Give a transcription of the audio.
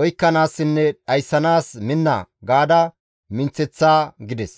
oykkanaassinne dhayssanaas minna› gaada minththeththa» gides.